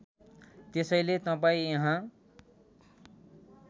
त्यसैले तपाईँ यहाँ